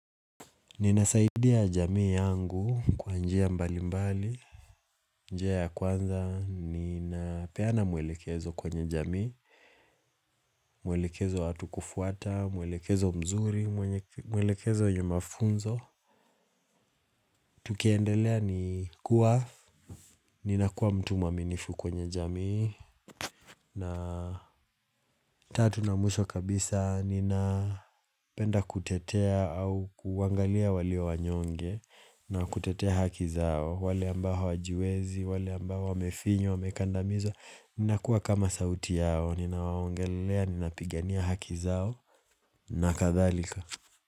Ninasaidia jamii yangu kwa njia mbali mbali, njia ya kwanza, ninapeana mwelekezo kwenye jamii, mwelekezo hatu kufuata, mwelekezo mzuri, mwelekezo nyumafunzo, tukiendelea ni kuwa, ninakuwa mtu maminifu kwenye jamii, na tatu na mwisho kabisa, nina penda kutetea au kuangalia walio wanyonge, na kutetea hakizao, wale ambaho wajiwezi, wale ambao wamefinyo, wamekandamizo, nina kuwa kama sauti yao, nina waongelea, nina pigania haki zao, na kathalika.